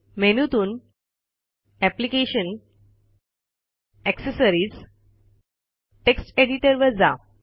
मेनूतून application gtaccessories gt text editor वर जा